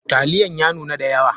Taliyan ya nuna da yawa.